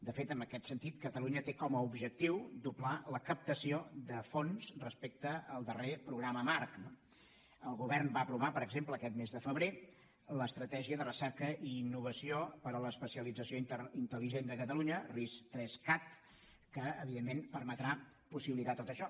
de fet en aquest sentit catalunya té com a objectiu doblar la captació de fons respecte al darrer programa marc no el govern va aprovar per exemple aquest mes de febrer l’estratègia de recerca i innovació per a l’especialització intelligent de catalunya ris3cat que evidentment permetrà possibilitar tot això